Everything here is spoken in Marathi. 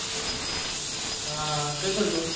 हां, काय करतो?